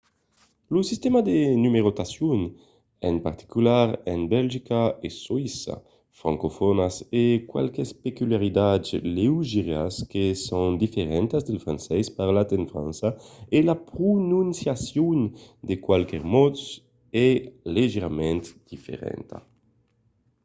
lo sistèma de numerotacion en particular en belgica e soïssa francofònas a qualques peculiaritats leugièras que son diferentas del francés parlat en frança e la prononciacion de qualques mots es leugièrament diferenta